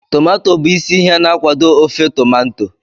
Tomanto bụ isi ihe na nkwado ofe tomanto